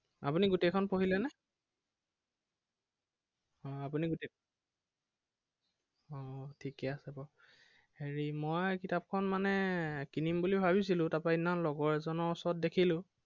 আপুনি গোটেইখন পঢ়িলেনে আহ আপুনি গোটেইখন আহ ঠিকেই আছে বাৰু। হেৰি মই কিতাপখন মানে কিনিম বুলি ভাবিছিলো, তাৰপৰা সেইদিনা লগৰ এজনৰ ওচৰত দেখিলো।